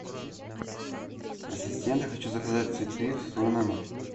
ассистент я хочу заказать цветы в свой номер